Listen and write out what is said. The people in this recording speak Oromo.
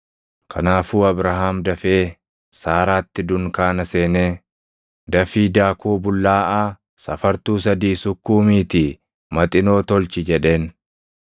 Kanaafuu Abrahaam dafee Saaraatti dunkaana seenee, “Dafii daakuu bullaaʼaa safartuu sadii sukkuumiitii maxinoo tolchi” jedheen.